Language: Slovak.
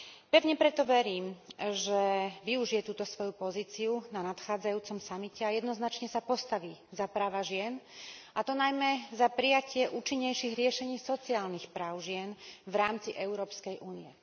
Pevne preto verím, že využije túto svoju pozíciu na nadchádzajúcom samite a jednoznačne sa postaví za práva žien a to najmä za prijatie účinnejších riešení sociálnych práv žien v rámci Európskej únie.